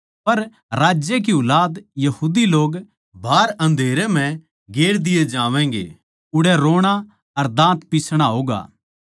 पर राज्य की ऊलाद यहूदी लोग बाहर अन्धेरे म्ह गेर दिये जावैंगे उड़ै रोणा अर दाँत पिसणा होगा